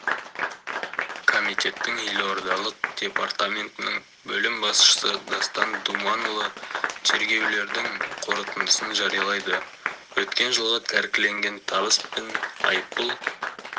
комитеттің елордалық департаментінің бөлім басшысы дастан думанұлы тергеулердің қорытындысын жариялады өткен жылғы тәркіленген табыс пен айыппұл